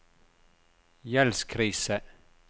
gjeldskrise